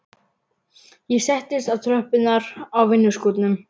Ég settist á tröppurnar á vinnuskúrnum.